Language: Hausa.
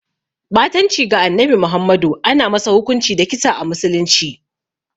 Ɓatanci ga Annabi Muhammadu ana masa hukunci da kisa a musulunci.